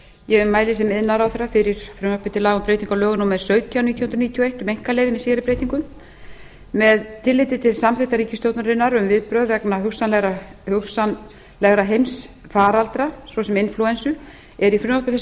ég mæli sem iðnaðarráðherra fyrir frumvarpi til laga um breytingu á lögum númer sautján nítján hundruð níutíu og eitt um einkaleyfi með síðari breytingum með tilliti til samþykktar ríkisstjórnarinnar um viðbrögð vegna hugsanlegra heimsfaraldra svo sem inflúensu er í frumvarpi